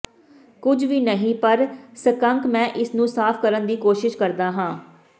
ਕੁਝ ਵੀ ਨਹੀਂ ਪਰ ਸਕੰਕ ਮੈਂ ਇਸਨੂੰ ਸਾਫ਼ ਕਰਨ ਦੀ ਕੋਸ਼ਿਸ਼ ਕਰਦਾ ਹਾਂ